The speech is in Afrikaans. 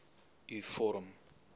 u vorm